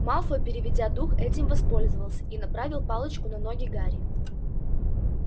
малфой переведя дух этим воспользовался и направил палочку на ноги гарри